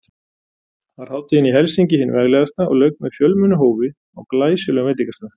Var hátíðin í Helsinki hin veglegasta og lauk með fjölmennu hófi á glæsilegum veitingastað.